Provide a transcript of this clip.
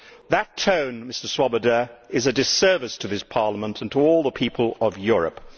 That tone, Mr Swoboda, is a disservice to this Parliament and to all the people of Europe.